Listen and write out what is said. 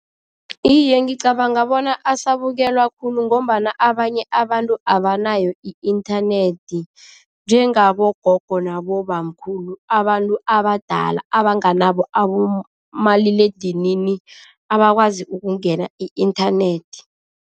Iye, ngicabanga bona asabukelwa khulu ngombana abanye abantu abanayo i-inthanethi, njengabogogo nabobamkhulu, abantu abadala abanganabo abomaliledinini, abakwazi ukungena i-inthanethi.